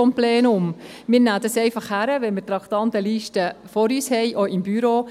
Wir nehmen es einfach hin, wenn wir die Traktandenliste vor uns haben, auch im Büro.